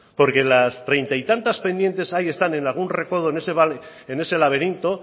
porque las treinta y tantas pendientes ahí están en algún recodo en ese laberinto